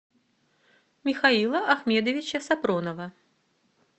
михаила ахмедовича сапронова